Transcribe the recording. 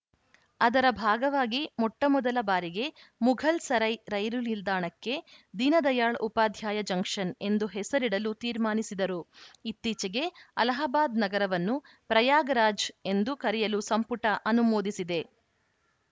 ಅದರ ಭಾಗವಾಗಿ ಮೊಟ್ಟಮೊದಲ ಬಾರಿಗೆ ಮುಘಲ್‌ಸರೈ ರೈಲು ನಿಲ್ದಾಣಕ್ಕೆ ದೀನದಯಾಳ್‌ ಉಪಾಧ್ಯಾಯ ಜಂಕ್ಷನ್‌ ಎಂದು ಹೆಸರಿಡಲು ತೀರ್ಮಾನಿಸಿದರು ಇತ್ತೀಚೆಗೆ ಅಲಹಾಬಾದ್‌ ನಗರವನ್ನು ಪ್ರಯಾಗರಾಜ್‌ ಎಂದು ಕರೆಯಲು ಸಂಪುಟ ಅನುಮೋದಿಸಿದೆ